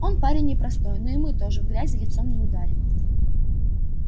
он парень непростой но и мы тоже в грязь лицом не ударим